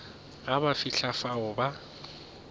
ge ba fihla fao ba